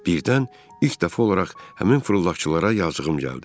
Birdən ilk dəfə olaraq həmin fırıldaqçılara yazığım gəldi.